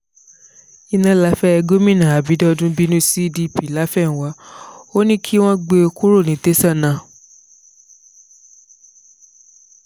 iná láfẹ́ gómìnà àbídọ́dún bínú sí dp láfẹnwá ò ní kí wọ́n gbé e kúrò ní tẹ̀sán náà